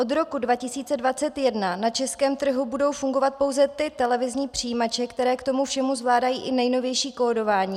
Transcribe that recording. Od roku 2021 na českém trhu budou fungovat pouze ty televizní přijímače, které k tomu všemu zvládají i nejnovější kódování.